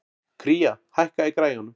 Kría, hækkaðu í græjunum.